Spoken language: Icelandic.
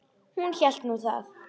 Hún hélt nú það.